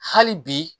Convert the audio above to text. Hali bi